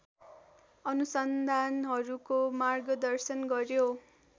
अनुसन्धानहरूको मार्गदर्शन गर्‍यो।